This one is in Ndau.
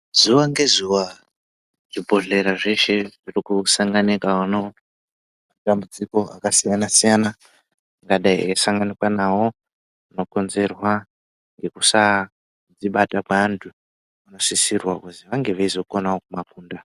Zuwa ngezuwa zvibhodhlera zveshe zvirikusanganika uno nematambudziko akasiyana siyana akadai eisanganikwa nawo anokonzerwa ngekusadzibata kweanthu vanosisirwa kutivange veizokonawo kumakunda.